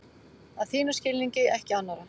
Að þínum skilningi, ekki annarra.